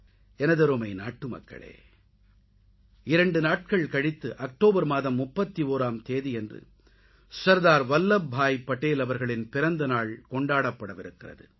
எனதருமை நாட்டுமக்களே 2 நாட்கள் கழித்து அக்டோபர் மாதம் 31ஆம் தேதி சர்தார் வல்லப் பாய் படேல் அவர்களின் பிறந்த நாள் கொண்டாடப்படவிருக்கிறது